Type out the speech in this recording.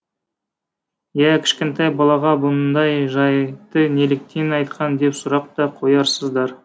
ия кішкентай балаға бұндай жайтты неліктен айтқан деп сұрақ та қоярсыздар